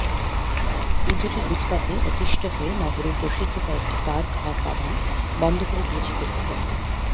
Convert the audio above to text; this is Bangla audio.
ইঁদুরের উৎপাতে অতিষ্ঠ হয়ে নগরের প্রসিদ্ধ কয়েকটি পার্ক আর বাগান বন্ধ করে দিয়েছে কর্তৃপক্ষ